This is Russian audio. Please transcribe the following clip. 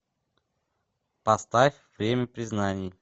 поставь время признаний